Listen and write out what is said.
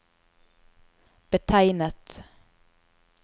betegnet